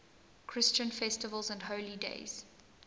christian festivals and holy days